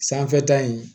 Sanfɛta in